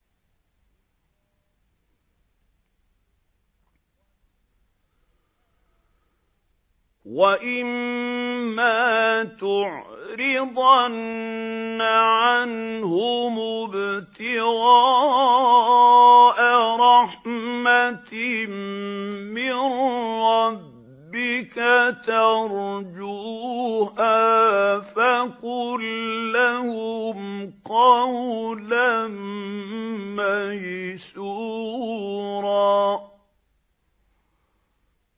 وَإِمَّا تُعْرِضَنَّ عَنْهُمُ ابْتِغَاءَ رَحْمَةٍ مِّن رَّبِّكَ تَرْجُوهَا فَقُل لَّهُمْ قَوْلًا مَّيْسُورًا